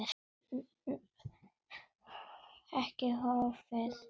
Sú krafa hefur ekki horfið.